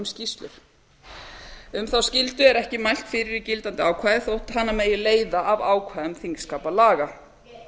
skýrslur um þá skyldu er ekki mælt fyrir í gildandi ákvæði þótt hana megi leiða af ákvæðum þingskapalaga